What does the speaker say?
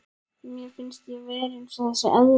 Mér finnst ég vera eins og þessi eðla.